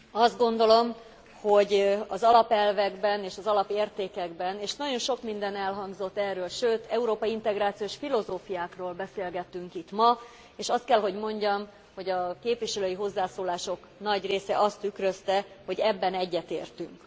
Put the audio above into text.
Azt gondolom, hogy az alapelvekben és az alapértékekben és nagyon sok minden elhangzott erről, sőt, európai integrációs filozófiákról beszélgettünk itt ma, és azt kell, hogy mondjam, hogy a képviselői hozzászólások nagy része azt tükrözte, hogy ebben egyetértünk.